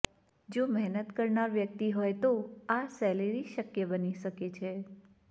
જો મહેનત કરનાર વ્યક્તિ હોય તો આ સેલેરી શક્ય બની શકે છે